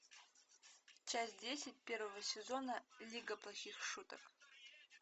часть десять первого сезона лига плохих шуток